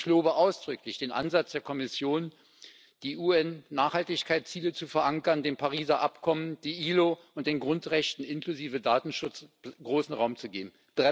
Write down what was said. Ich lobe ausdrücklich den Ansatz der Kommission, die UN Nachhaltigkeitsziele zu verankern, dem Pariser Abkommen, der ILO und den Grundrechten, inklusive Datenschutz, großen Raum zu geben.